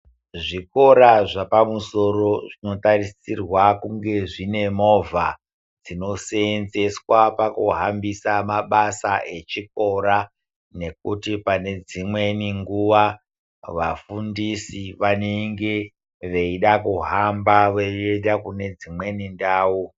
Zvikora zvepamsoro zvinotarisirwa kunge zvine movha dzinosenzeswa pakuhambusa mabasa echikora nekuti pane dzimweni nguwa vafundisi vanenge veida kuhamba veienda kune dzimweni ndau.